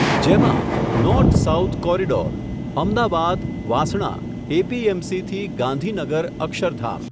જેમાં, north south corridor, Ahmedabad Vasna, એપીએમસીથી, Gandhinagar Akshardham.